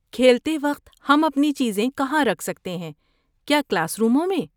کھیلتے وقت ہم اپنی چیزیں کہاں رکھ سکتے ہیں، کیا کلاس روموں میں؟